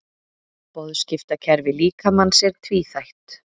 Boðskiptakerfi líkamans er tvíþætt.